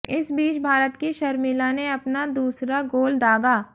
इस बीच भारत की शर्मिला ने अपना दूसरा गोल दागा